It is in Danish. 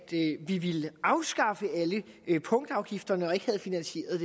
vi ville afskaffe alle punktafgifterne og ikke havde finansieret